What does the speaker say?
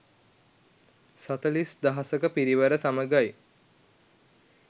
සතලිස් දහසක පිරිවර සමඟයි.